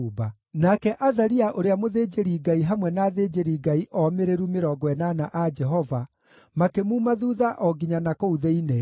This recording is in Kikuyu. Nake Azaria ũrĩa mũthĩnjĩri-Ngai hamwe na athĩnjĩri-Ngai omĩrĩru mĩrongo ĩnana a Jehova, makĩmuuma thuutha o nginya na kũu thĩinĩ.